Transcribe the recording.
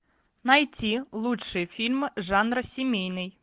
найти лучшие фильмы жанра семейный